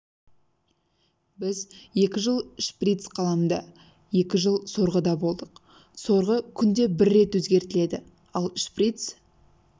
біз екі жыл шприц қаламда екі жыл сорғыда болдық сорғы күнде бір рет өзгертіледі ал шрпиц